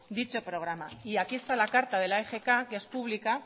dicho programa y aquí está la carta de la egk que es pública